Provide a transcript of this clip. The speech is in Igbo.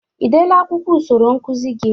Ị dele akwụkwọ usoro nkụzị gị?